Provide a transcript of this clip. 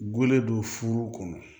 Gulo don furu kɔnɔ